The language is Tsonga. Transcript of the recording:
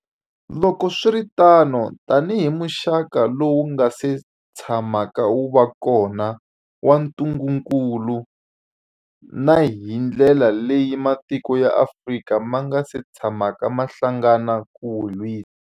Loko swi ri tano, tanihi muxaka lowu wu nga si tsha maka wu va kona wa ntu ngukulu, na hi ndlela leyi matiko ya Afrika ma nga si tshamaka ma hlangana ku wu lwisa.